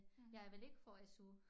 Jeg vil ikke få SU